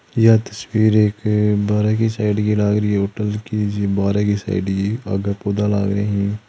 यह तस्बीर बारे की साइट की लाग रही होटल की --